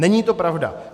Není to pravda.